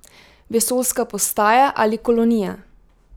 Vesoljska postaja ali kolonija?